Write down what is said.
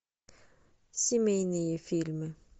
семейные фильмы